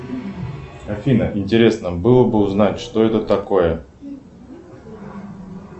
афина интересно было бы узнать что это такое